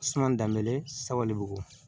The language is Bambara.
Suman danbe saba le b'o